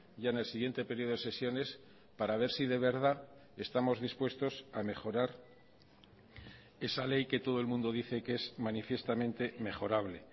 ya en el siguiente periodo de sesiones para ver si de verdad estamos dispuestos a mejorar esa ley que todo el mundo dice que es manifiestamente mejorable